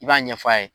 I b'a ɲɛf'a ye